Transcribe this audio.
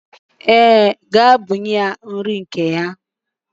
Ee, gaa bunye ya nri nke ya.